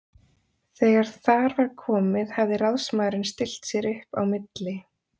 Þegar þar var komið hafði ráðsmaðurinn stillt sér upp á milli